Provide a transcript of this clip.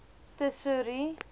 tesourie